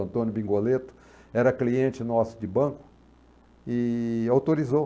Antônio Bingoleto, era cliente nosso de banco e autorizou.